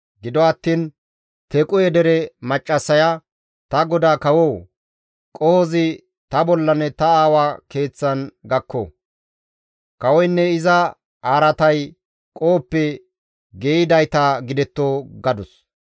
Gido attiin Tequhe dere maccassaya, «Ta godaa kawoo! Qohozi ta bollanne ta aawa keeththan gakko; kawoynne iza araatay qohoppe geeyidayta gidetto» gadus.